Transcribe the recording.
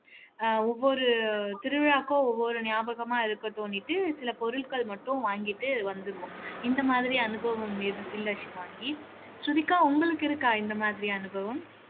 அஹ் ஒவ்வொரு திருவிழாவுக்கும் ஒவ்வொரு ஞாபகமா இருக்கட்டும்னிட்டு சில பொருட்கள் மட்டும் வாங்கிட்டு வந்துருவோம் இந்த மாதிரி அனுபவம் இரு இல்ல ஷிவாங்கி ஸ்ருதிகா உங்களுக்கு இருக்கா இந்த மாதிரி அனுபவம்